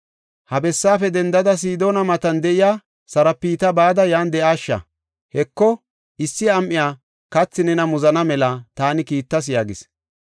“Ha bessaafe dendada, Sidoona matan de7iya Sarapta bada yan de7aasha. Heko, issi am7iya kathi nena muzana mela taani kiittas” yaagis.